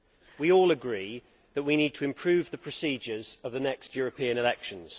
We all agree that we need to improve the procedures of the next European elections.